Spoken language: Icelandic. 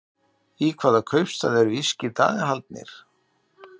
Í hvaða kaupstað eru írskir dagar haldnir?